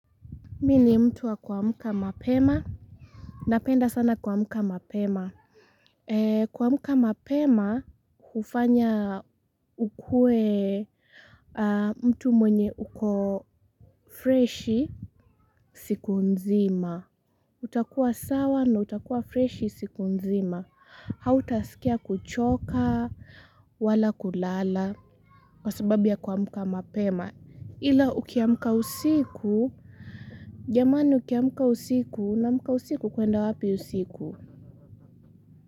Mi ni mtu wa kuamka mapema Napenda sana kuamka mapema kuamka mapema, kufanya ukue mtu mwenye uko fresh siku nzima utakuwa sawa na utakua fresh siku nzima Hautasikia kuchoka, wala kulala Kwa sababu ya kuamka mapema ila ukiamka usiku jamani ukiamka usiku unaamka usiku ukienda wapi usiku.